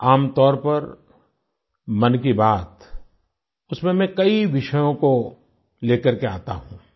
आमतौर पर मन की बात उसमें मैं कई विषयों को ले करके आता हूँ